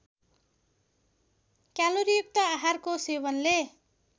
क्यालोरीयुक्त आहारको सेवनले